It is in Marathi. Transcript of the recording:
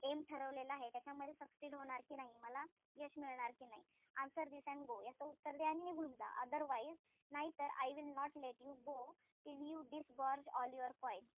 Aim ठरवलेलं आहे त्याच्यामध्ये succed होणार कि नाही. मला सांग यश मिळणार कि नाई? Answer this and go याच उत्तर दे आणि निघून जा. Otherwise नाहीतर I will not let you go till you disgorge all your coins.